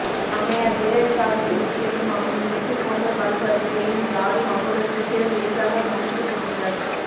அம்மையார் ஜெயலலிதாவின் சிரிப்பையும் அவரின் முத்து போன்ற பல் வரிசையையும் யாரும் அவ்வளவு சீக்கிரம் எளிதாக மறந்திருக்க முடியாது